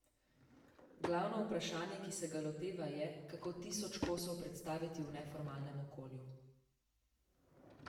Glavno vprašanje, ki se ga loteva, je, kako tisoč kosov predstaviti v neformalnem okolju.